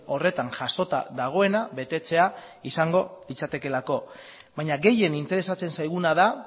horretan jasota dagoena betetzea izango litzatekeelako baina gehien interesatzen zaiguna da